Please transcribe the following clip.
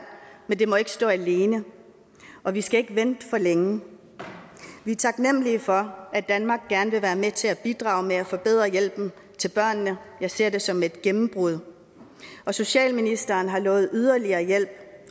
men det må ikke stå alene og vi skal ikke vente for længe vi er taknemmelige for at danmark gerne vil være med til at bidrage til at forbedre hjælpen til børnene jeg ser det som et gennembrud socialministeren har lovet yderligere hjælp